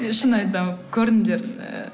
шын айтамын көріңдер